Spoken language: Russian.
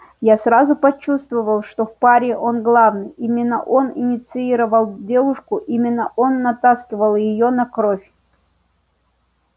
я сразу почувствовал что в паре он главный именно он инициировал девушку именно он натаскивал её на кровь